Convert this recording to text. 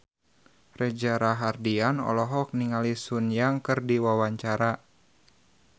Reza Rahardian olohok ningali Sun Yang keur diwawancara